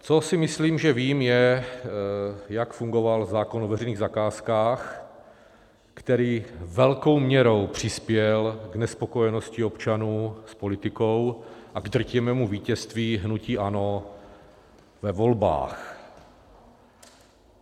Co si myslím, že vím, je, jak fungoval zákon o veřejných zakázkách, který velkou měrou přispěl k nespokojenosti občanů s politikou a k drtivému vítězství hnutí ANO ve volbách.